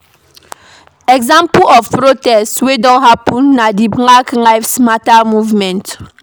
Example of protests wey don happen na di Black Lives Matter movement